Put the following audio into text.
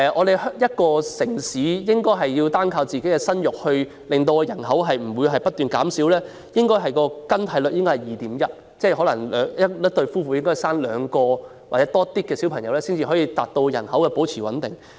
如一個城市要靠生育避免人口不斷減少，生育更替水平應是 2.1， 即一對夫婦應誕下超過兩名小孩，才能令人口保持穩定。